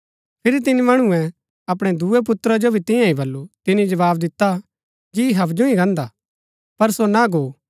फिरी तिनी मणुऐ अपणै दूये पुत्रा जो भी तियां ही बल्लू तिनी जवाव दिता जी हबजु ही गान्दा पर सो ना गो